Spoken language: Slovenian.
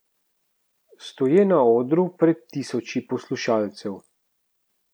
Stoje na odru pred tisoči poslušalcev.